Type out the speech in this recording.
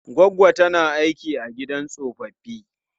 Goggo ta tana aiki a gidan tsofaffi.